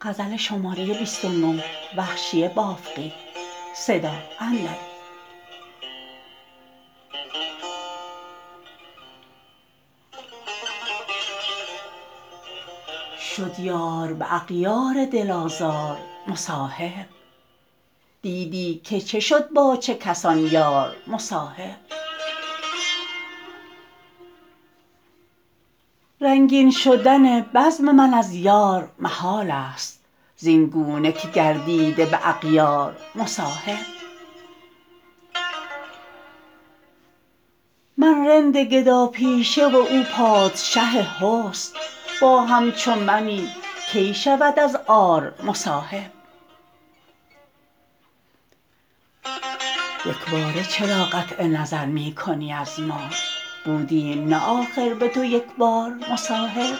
شد یار به اغیار دل آزار مصاحب دیدی که چه شد با چه کسان یار مصاحب رنگین شدن بزم من از یار محال است زین گونه که گردیده به اغیار مصاحب من رند گدا پیشه و او پادشه حسن با همچو منی کی شود از عار مصاحب یکباره چرا قطع نظر می کنی از ما بودیم نه آخر به تو یکبار مصاحب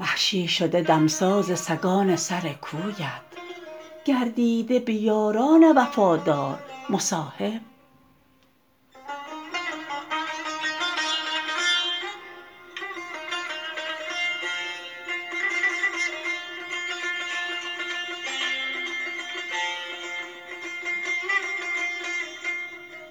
وحشی شده دمساز سگان سرکویت گردیده به یاران وفادار مصاحب